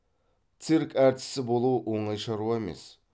цирк әртісі болу оңай шаруа емес